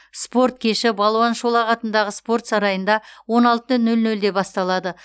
спорт кеші балуан шолақ атындағы спорт сарайында он алты нөл нөлде басталады